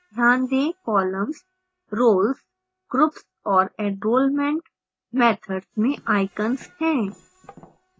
ध्यान दें columns roles groups और enrolment methods में icons है